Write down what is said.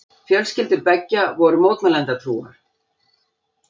Fjölskyldur beggja voru mótmælendatrúar.